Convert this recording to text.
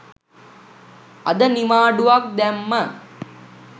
අද නිවාඩුවක් දැම්ම